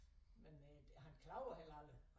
Men øh han klager heller aldrig